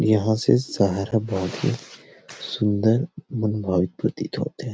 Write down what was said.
यहा से शहर बहुत सुन्दर मानभावित प्रतीत हो थे।